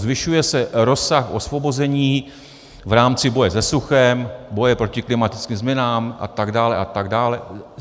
Zvyšuje se rozsah osvobození v rámci boje se suchem, boje proti klimatickým změnám a tak dále a tak dále.